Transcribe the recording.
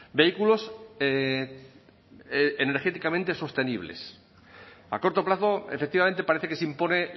vehículos energéticamente sostenibles a corto plazo efectivamente parece que se impone